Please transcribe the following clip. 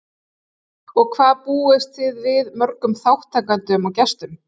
Og hvað búist þið við mörgum þátttakendum og gestum?